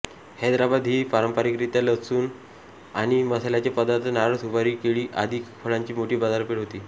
हैदराबाद ही पारंपरिकरीत्या लसूण आणि मसाल्याचे पदार्थ नारळ सुपारी केळी आदी फळांची मोठी बाजारपेठ होती